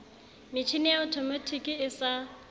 metjhini ya othomatiki e sa